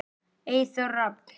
Eyþór Rafn.